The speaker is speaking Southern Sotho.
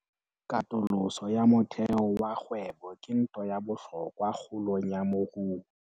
Katoloso ya motheo wa kgwebo ke ntho ya bohlokwa kgolong ya moruo.